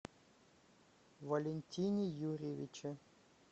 валентине юрьевиче